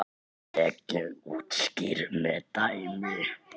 er reglan útskýrð með dæmi